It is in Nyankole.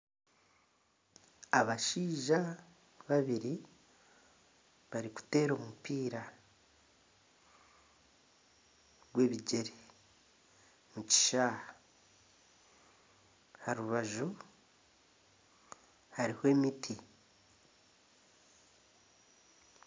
Abashaija babiri barikuteera omupiira gw’ebigyere omu kishaayi aha rubaju hariho emiti.